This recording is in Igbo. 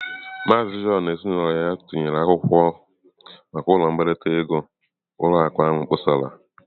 Maazị John na ezinụlọ ya tinyere akwụkwọ maka ụlọ mbelata ego ụlọ akụ ahụ kpọsara.